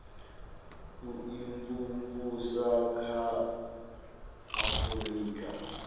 u imvumvusa kha a afurika